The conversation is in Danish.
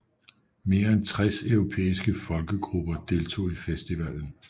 Mere end 60 europæiske folkegrupper deltog i festivalen